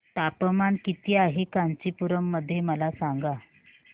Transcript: तापमान किती आहे कांचीपुरम मध्ये मला सांगा